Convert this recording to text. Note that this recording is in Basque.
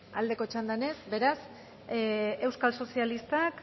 aldeko txandan ez beraz euskal sozialistak